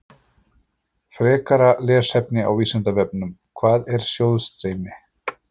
Frekara lesefni á Vísindavefnum: Hvað er sjóðstreymi?